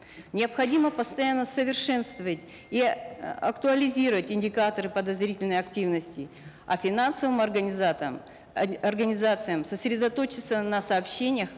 необходимо постоянно совершенствовать и э актуализировать индикаторы подозрительной активности а финансовым организациям сосредоточиться на сообщениях